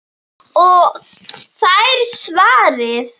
Og fær svarið